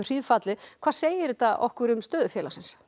hríðfallið hvað segir þetta okkur um stöðu félagsins